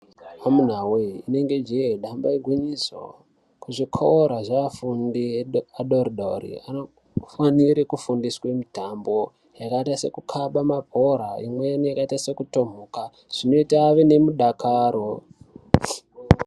Amuna yee rinenge jee damba igwinyiso, kuzvikora zveafundi adori-dori kunofanire kufundiswa mitambo yakaita sekukaba mabhora, imweni yakaita sekutomhuka zvinote ave nemudakaro.